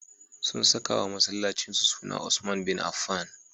Sun sakawa masallacinsu suna Usman Bin Affan.